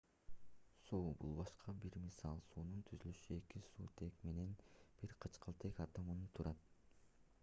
суу бул башка бир мисал суунун түзүлүшү эки суутек менен бир кычкылтек атомунан турат